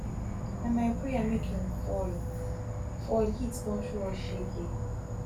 na my prayer make im fall heat fall heat don show us shege